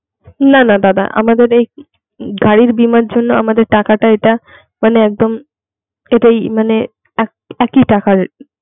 না না দাদা আমাদের এই গাড়ির বীমার জন্য আমাদের টাকাটা এটা মানে একদম এটাই মানে এক একই টাকা.